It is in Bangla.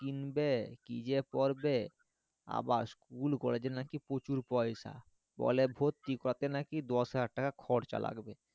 কিনবে কি যে পরবে আবার school college এ নাকি প্রচুর পয়সা বলে ভর্তি করতে নাকি দশ হাজার খরচা লাগবে